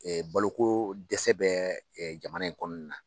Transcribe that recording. baloko dɛsɛ bɛ jamana in kɔnɔna na.